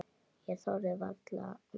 Hann þorði varla að anda.